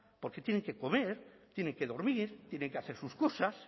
porque tienen que comer tienen que dormir tienen que hacer sus cosas